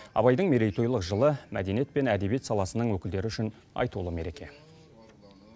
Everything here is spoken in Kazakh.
абайдың мерейтойлық жылы мәдениет пен әдебиет саласының өкілдері үшін айтулы мереке